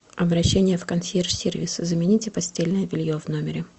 обращение в консьерж сервис замените постельное белье в номере